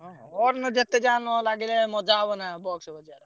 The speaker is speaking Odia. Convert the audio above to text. ହଁ ଯେତେଯାହା ନଲାଗିଲେ ମଜା ହବନା box ବଜା।